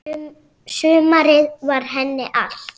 Sumarið var henni allt.